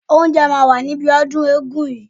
Oúnjẹ máa wà níbi ọdún eégún yìí.